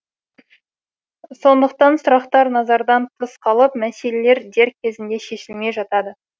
сондықтан сұрақтар назардан тыс қалып мәселелер дер кезінде шешілмей жатады